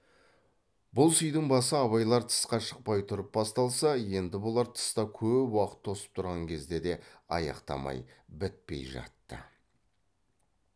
бұл сыйдың басы абайлар тысқа шықпай тұрып басталса енді бұлар тыста көп уақыт тосып тұрған кезде де аяқтамай бітпей жатты